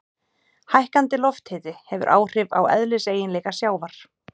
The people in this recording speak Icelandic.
Hækkandi lofthiti hefur áhrif á eðliseiginleika sjávar.